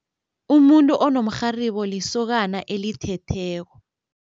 Umuntu onomrharibo lisokana elithetheko.